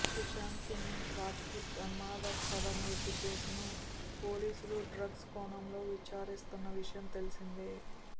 సుశాంత్ సింగ్ రాజ్పూత్ అనుమానాస్పద మృతి కేసును పోలీసులు డ్రగ్స్ కోణంలో విచారిస్తోన్న విషయం తెలిసిందే